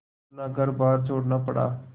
अपना घरबार छोड़ना पड़ा